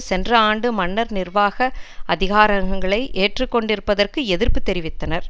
சென்ற ஆண்டு மன்னர் நிர்வாக அதிகாரங்களை ஏற்றுக்கொண்டிருப்பதற்கு எதிர்ப்பு தெரிவித்தனர்